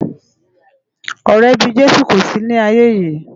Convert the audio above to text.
Òrè bi Jesu kó si ni áiyé yi